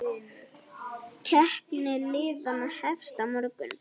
Keppni liðanna hefst á morgun.